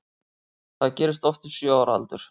Það gerist oft við sjö ára aldur.